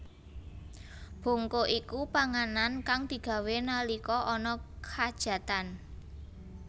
Bongko iku panganan kang digawé nalika ana khajatan